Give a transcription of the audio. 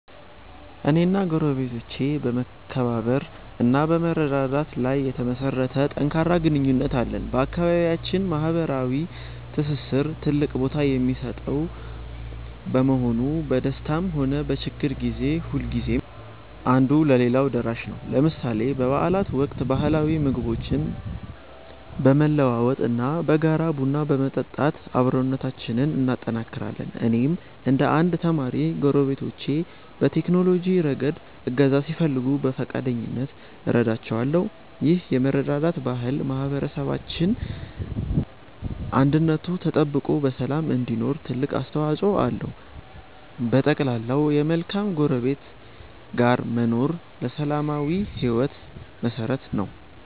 እኔና ጎረቤቶቼ በመከባበር እና በመረዳዳት ላይ የተመሠረተ ጠንካራ ግንኙነት አለን። በአካባቢያችን ማኅበራዊ ትስስር ትልቅ ቦታ የሚሰጠው በመሆኑ፣ በደስታም ሆነ በችግር ጊዜ ሁልጊዜም አንዱ ለሌላው ደራሽ ነው። ለምሳሌ በበዓላት ወቅት ባህላዊ ምግቦችን በመለዋወጥ እና በጋራ ቡና በመጠጣት አብሮነታችንን እናጠናክራለን። እኔም እንደ አንድ ተማሪ፣ ጎረቤቶቼ በቴክኖሎጂ ረገድ እገዛ ሲፈልጉ በፈቃደኝነት እረዳቸዋለሁ። ይህ የመረዳዳት ባህል ማኅበረሰባችን አንድነቱ ተጠብቆ በሰላም እንዲኖር ትልቅ አስተዋፅኦ አለው። በጠቅላላው፣ ከመልካም ጎረቤት ጋር መኖር ለሰላማዊ ሕይወት መሠረት ነው።